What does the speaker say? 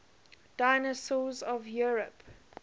dinosaurs of europe